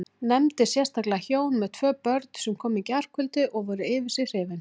Nefndi sérstaklega hjón með tvö börn sem komu í gærkvöldi og voru yfir sig hrifin.